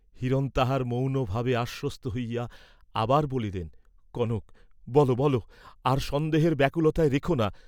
হিরণ তাহার মৌনভাবে আশ্বস্ত হইয়া আবার বলিলেন, "কনক বল বল, আর সন্দেহের ব্যাকুলতায় রেখোনা।"